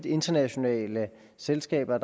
internationale selskaber